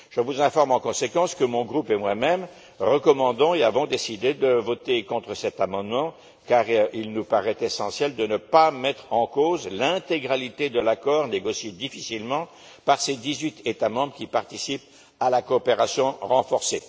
En conséquence, je vous informe que mon groupe et moi même recommandons et avons décidé de voter contre cet amendement car il nous paraît essentiel de ne pas mettre en cause l'intégralité de l'accord négocié difficilement par ces dix huit États membres qui participent à la coopération renforcée.